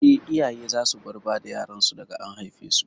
Eh, iyaye za su bar bada yaran su daga an haife su